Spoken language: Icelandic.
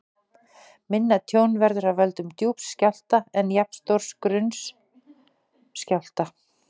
Minna tjón verður af völdum djúps skjálfta en jafnstórs grunns skjálfta.